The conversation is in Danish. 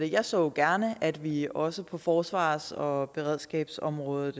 jeg så jo gerne at vi også på forsvars og beredskabsområdet